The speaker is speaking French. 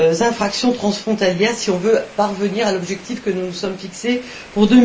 infractions transfrontalières, si on veut parvenir à l'objectif que nous nous sommes fixé pour